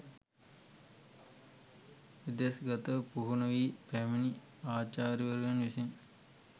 විදෙස් ගතව පුහුණු වී පැමිණි ආචාර්යවරුන් විසින්